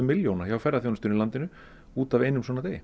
milljóna hjá ferðaþjónustunni í landinu út af einum svona degi